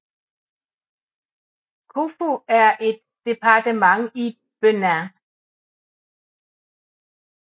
Kouffo er et departement i Benin